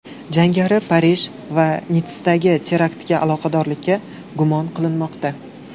Jangari Parij va Nitssadagi teraktlarga aloqadorlikda gumon qilinmoqda.